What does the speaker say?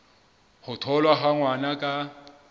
ho tholwa ha ngwana ka